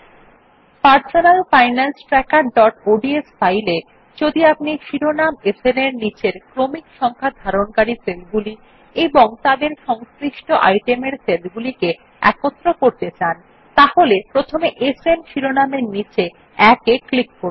আমাদের personal finance trackerঅডস ফাইলে যদি আপনি শিরোনাম সান এর অধীনে ক্রমিক সংখ্যা ধারণকারী সেলগুলি এবং তাদের সংশ্লিষ্ট আইটেম এর সেলগুলিকে একত্র করতে চান তাহলে প্রথমে সান শিরোনামের নীচে ১ এ ক্লিক করুন